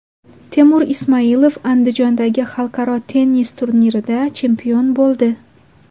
Temur Ismoilov Andijondagi xalqaro tennis turnirida chempion bo‘ldi.